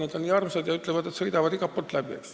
Need on nii armsad ja mehed ütlevad, et sõidavad igalt poolt läbi.